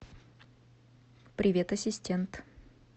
привет ассистент